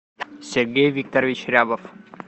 сергей викторович рябов